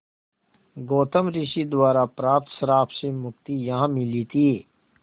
गौतम ऋषि द्वारा प्राप्त श्राप से मुक्ति यहाँ मिली थी